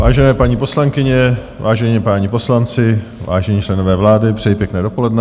Vážené paní poslankyně, vážení páni poslanci, vážení členové vlády, přeji pěkné dopoledne.